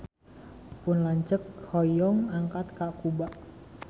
Pun lanceuk hoyong angkat ka Kuba